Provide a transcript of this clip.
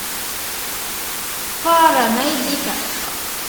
фара найди ка